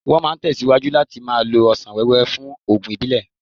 Wọ́n máa tẹ̀síwájú láti máa lo ọsàn wẹ́wẹ́ fún oògùn ìbílẹ̀.